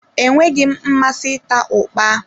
Enweghị m mmasị ịta ukpa